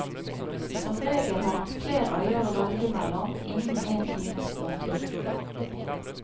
Som regel har man flere øyer å velge mellom innen en times båttur.